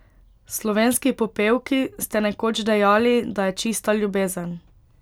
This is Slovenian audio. Slovenski popevki, ste nekoč dejali, da je čista ljubezen.